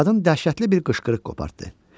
Qadın dəhşətli bir qışqırıq qopardı.